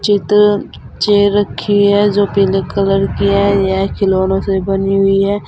इधर चेयर रखी है जो पीले कलर की है यह खिलौनों से बनी हुई है।